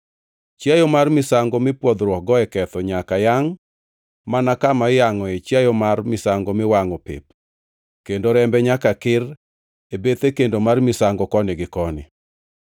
Chiayo mar misango mipwodhruokgo e ketho nyaka yangʼ mana kama iyangʼoe chiayo mar misango miwangʼo pep kendo rembe nyaka kir e bethe kendo mar misango koni gi koni.